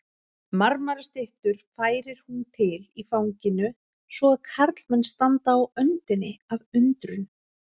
Marmarastyttur færir hún til í fanginu svo að karlmenn standa á öndinni af undrun.